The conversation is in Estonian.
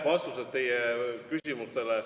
Vastused teie küsimustele.